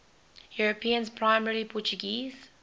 europeans primarily portuguese